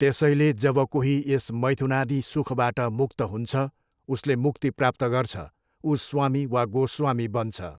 त्यसैले जब कोही यस मैथुनादि सुखबाट मुक्त हुन्छ, उसले मुक्ति प्राप्त गर्छ, ऊ स्वामी वा गोस्वामी बन्छ।